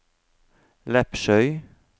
Lepsøy